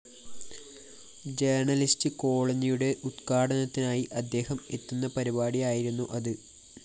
journalist കോളനിയുടെ ഉദ്ഘാടനത്തിനായി അദ്ദേഹം എത്തുന്ന പരിപാടിയായിരുന്നു അത്